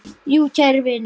Jú, kæru vinir.